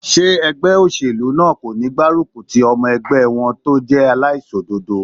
Ṣé ẹgbẹ́ óṣèlú náà kò ní gbárùkù ti ọmọ ẹgbẹ́ wọn tó jẹ́ aláìṣòdodo?